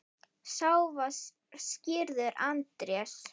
Sá var skírður Andrés.